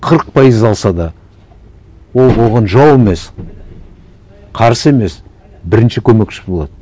қырық пайыз алса да ол оған жау емес қарсы емес бірінші көмекші болады